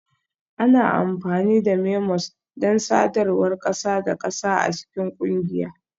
Ana amfani da memos don sadarwar ƙasa da ƙasa a cikin ƙungiya